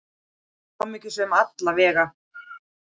Hamingjusöm, alla vega.